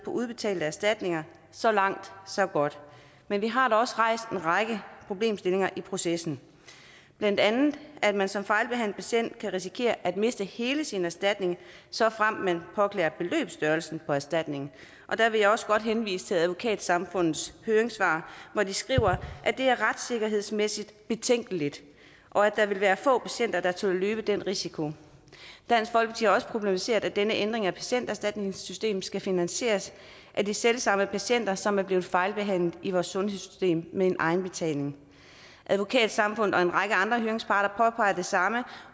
udbetalte erstatninger så langt så godt men vi har da også rejst en række problemstillinger i processen blandt andet at man som fejlbehandlet patient kan risikere at miste hele sin erstatning såfremt man påklager beløbsstørrelsen på erstatningen der vil jeg også godt henvise til advokatsamfundets høringssvar hvor de skriver at det er retssikkerhedsmæssigt betænkeligt og at der vil være få patienter der tør løbe den risiko dansk folkeparti har også problematiseret at denne ændring af patienterstatningssystemet skal finansieres af de selv samme patienter som er blevet fejlbehandlet i vores sundhedssystem med en egenbetaling advokatsamfundet og en række andre høringsparter påpeger det samme